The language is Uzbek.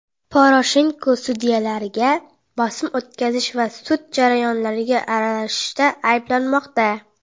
Poroshenko sudyalarga bosim o‘tkazish va sud jarayonlariga aralashishda ayblanmoqda.